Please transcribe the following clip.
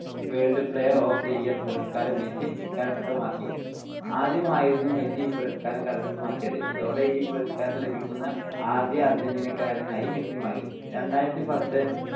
world player of the year പുരസ്കാരം Messi കരസ്ഥമാക്കി. ആദ്യമായായിരുന്നു മെസ്സി ഈ പുരസ്കാരം കരസ്ഥമാക്കിയത്. ഇതോടെ ഈ പുരസ്കാരം ലഭിക്കുന്ന ആദ്യ അർജന്റീനക്കാരനായി മെസ്സി മാറി. രണ്ടായിരത്തിപത്ത്